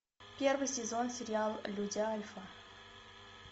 первый сезон сериал люди альфа